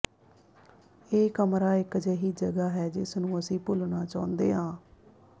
ਇਹ ਕਮਰਾ ਇਕ ਅਜਿਹੀ ਜਗ੍ਹਾ ਹੈ ਜਿਸ ਨੂੰ ਅਸੀਂ ਭੁੱਲਣਾ ਚਾਹੁੰਦੇ ਹਾਂ